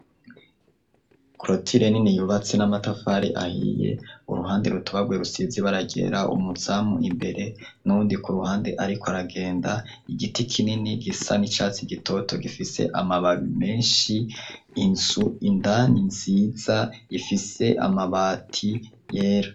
Krotile neni yubatsi n'amatafari ahiye uruhande rutubagwe rusizi baragera umuzamu imbere n'uwundi ku ruhande, ariko aragenda igiti kineni gisa n'icatsi gitoto gifise amababi menshi inzu indani nziza ifise amabati yera.